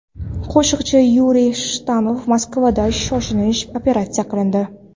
Qo‘shiqchi Yuriy Shatunov Moskvada shoshilinch operatsiya qilindi.